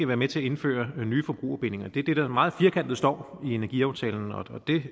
være med til at indføre nye forbrugerbindinger det er det der meget firkantet står i energiaftalen og det